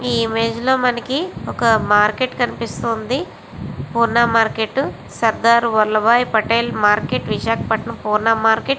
ఈ ఇమేజ్ లో మనకి ఒక మార్కెట్ కనిపిస్తూ వుంది Purna market Sardar Vallabhbhai Patel Visakhapatnam Purna market.